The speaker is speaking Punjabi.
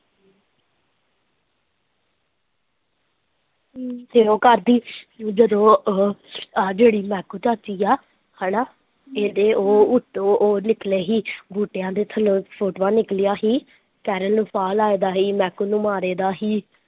ਫਿਰ ਉਹ ਕਰਦੀ ਜਦੋਂ ਉਹ ਜਿਹੜੀ ਮਹਿਕੂ ਚਾਚੀ ਹੈ ਹੇਨਾ ਇਹਦੇ ਉਹ ਨਿੱਕਲੇ ਸੀ ਬੂਟਿਆਂ ਦੇ ਥੱਲੋਂ ਫੋਟੋਆਂ ਨਿਕਲੀਆਂ ਸੀ